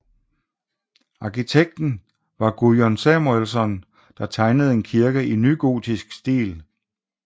Arkitekt var Guðjón Samúelsson der tegnede en kirke i nygotisk stil